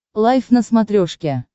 лайф на смотрешке